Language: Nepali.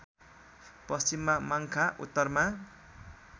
पश्चिममा माङ्खा उत्तरमा